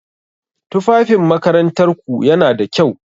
Tufafin makarantar ku yana da kyau?